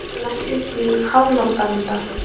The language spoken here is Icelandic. Nær mökkurinn ekki upp í háloftavinda